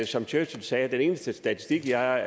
som churchill sagde den eneste statistik jeg